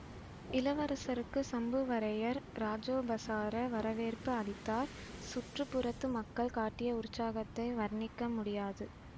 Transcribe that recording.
இளவரசருக்கு சம்புவரையர் இராஜோபசார வரவேற்பு அளித்தார் சுற்றுப்புறத்து மக்கள் காட்டிய உற்சாகத்தை வர்ணிக்க முடியாது